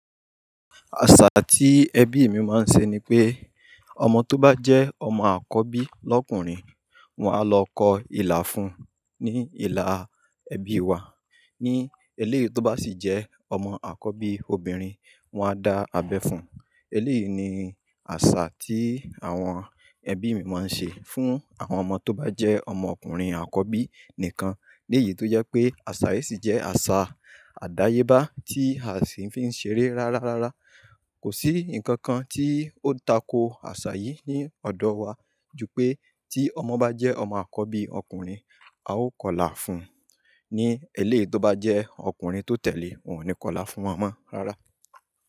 Àṣà tí ẹbí mi máa ń ṣe ni pé ọmọ tó bá jẹ́ ọmọ àkọ́bí lọ́kùnrin, wọ́n á lọ kọ ilà fún un ní ìlà ẹbí wa. Ní eléyìí tó bá sì jẹ́ ọmọ àkọ́bí obìnrin, wọ́n á dá abẹ́ fún un. Eléyìí ni àṣà tí àwọn ẹbí mi máa ń ṣe fún àwọn ọmọ tó bá jẹ́ ọmọkùnrin àkọ́bí nìkan. Ní èyí tó jẹ́ pé àṣà yìí sì jẹ́ àṣà àdáyébá tí a sì fi ń ṣeré rárárárá. Kò sí nǹkan kankan tí ó tako sí àṣà yìí ní ọ̀dọ̀ wa, ju pé tí ọmọ bá jẹ́ ọmọ àkọ́bí ọ́kùnrin, a ó kọilà fún un. Ní eléyìí tó bá jẹ́ ọkùnrin tó tẹ̀lé, wọn ni kọilà fún wọn rárá.